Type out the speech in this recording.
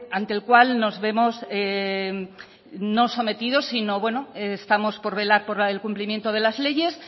ante el cual nos vemos no sometidos sino bueno estamos por velar por la del cumplimiento de las leyes